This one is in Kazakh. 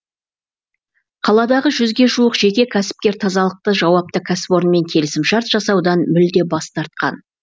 қаладағы жүзге жуық жеке кәсіпкер тазалықты жауапты кәсіпорынмен келісімшарт жасаудан мүлде бас тартқан